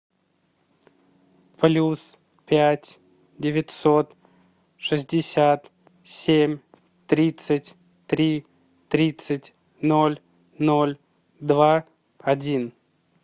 плюс пять девятьсот шестьдесят семь тридцать три тридцать ноль ноль два один